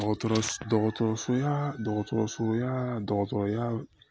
Dɔgɔtɔrɔ dɔgɔtɔrɔso ya dɔgɔtɔrɔsoya dɔgɔtɔrɔya